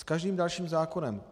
S každým dalším zákonem.